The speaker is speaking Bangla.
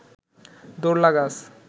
দৌড় লাগাস